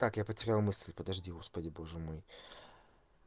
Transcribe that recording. как я потерял мысль подожди господи боже мой